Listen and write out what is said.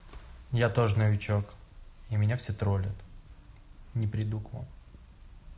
я тоже новичок и меня все троллят не приду к вам